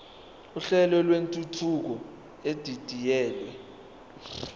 uhlelo lwentuthuko edidiyelwe